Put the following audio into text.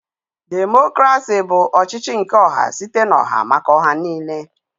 Democrasi bụ ọchịchị nke ọha site n'oha maka oha niine.